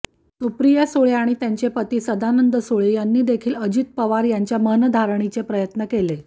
सुप्रिया सुळे आणि त्यांचे पती सदानंद सुळे यांनीदेखील अजित पवार यांच्या मनधरणीचे प्रयत्न केले